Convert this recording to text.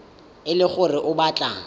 e le gore o batla